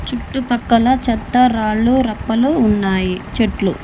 చుట్టూ పాకాల చేత రాలు రప్పలు ఉన్నాయి చెట్లు.